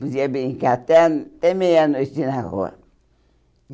Podia brincar até a até meia-noite na rua.